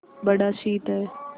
बड़ा शीत है